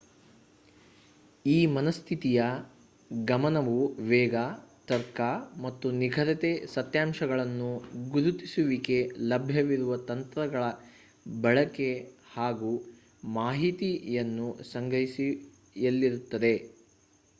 ಈ ಮನಸ್ಥಿತಿಯ ಗಮನವು ವೇಗ ತರ್ಕ ಮತ್ತು ನಿಖರತೆ ಸತ್ಯಾಂಶಗಳನ್ನು ಗುರುತಿಸುವಿಕೆ ಲಭ್ಯವಿರುವ ತಂತ್ರಜ್ಞಾನಗಳ ಬಳಕೆ ಹಾಗೂ ಮಾಹಿತಿಯನ್ನು ಸಂಗ್ರಹಿಸುವಿಕೆಯಲ್ಲಿರುತ್ತದೆ